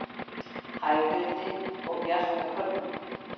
Hægviðri og bjart með köflum